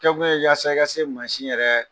Kɛ kun yɛrɛ yaas ika se ka maasi yɛrɛ